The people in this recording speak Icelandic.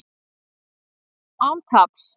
Án taps